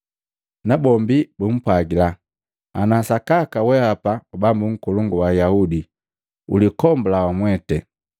nabombi bumpwagila, “Ana sakaka weapa Bambu Nkolongu wa Ayaudi, ulikombula wamwete!”